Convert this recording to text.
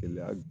Gɛlɛya